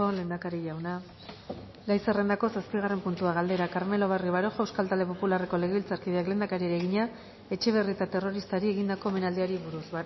lehendakari jauna gai zerrendako zazpigarren puntua galdera carmelo barrio baroja euskal talde popularreko legebiltzarkideak lehendakariari egina etxebarrieta terroristari egindako omenaldiari buruz